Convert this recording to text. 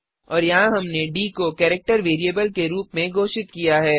और यहाँ हमने डी को केरिक्टर वेरिएबल के रूप में घोषित किया है